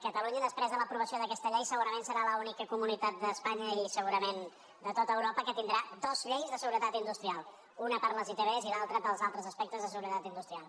catalunya després de l’aprovació d’aquesta llei segurament serà l’única comunitat d’espanya i segurament de tot europa que tindrà dos lleis de seguretat industrial una per a les itv i l’altra per als altres aspectes de seguretat industrial